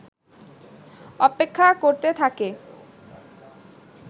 অপেক্ষা করতে থাকে